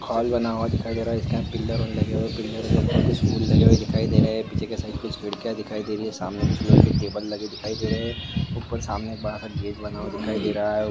Hall बना हुआ दिखाई डे रहा है इस के अंदर पिलर बनी हुए दिखाई डे रही है पिलर के ऊपर कुछ फूल लगी हुए दिखाई डे रही है पीचूय की साइड कुछ खिड़किया दिखाई डे रही है सामने कुछ लिहाय क टेबल लगी दिखाई डे रही है ऊपर सामन्य एक बड़ा सा गेट लगा दिखाई डे रहा है।